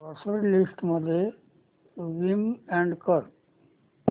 grocery list मध्ये Vim add कर